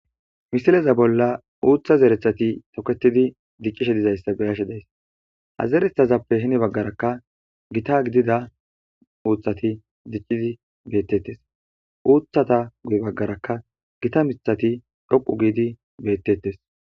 Misileza bolla uutha zerethati tokketidi dicishe dizaysa beyashe daysi. Ha zerethazappe heni baggaraka gita gidida uuthati diccidi beeteetes. Uuthatappe guye baggaraka gita miththati dhoqqu giidi beetetees.